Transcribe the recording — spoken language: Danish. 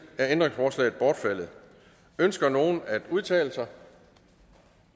er ændringsforslaget bortfaldet ønsker nogen at udtale sig